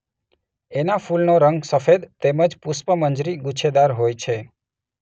એનાં ફૂલનો રંગ સફેદ તેમજ પુષ્પમંજરી ગુચ્છેદાર હોય છે.